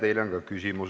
Teile on ka küsimus.